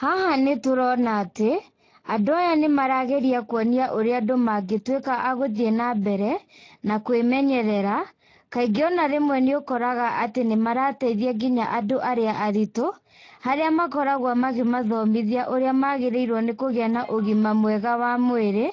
Haha nĩtũrona atĩ, andũ aya nĩmarageria kũonia ũrĩa andũ mangĩtuĩka a gũthiĩ na mbere na kwĩmenyerera kaingĩ ona rĩmwe nĩũkoraga atĩ nĩmarateithia ngĩnya andũ arĩa aritũ, harĩa makoragwo magĩmathomithia ũrĩa magĩrĩirwo nĩ kũgĩa na ũgima mwega wa mwĩrĩ,